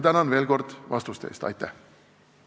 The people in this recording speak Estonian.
Tänan veel kord vastuste eest!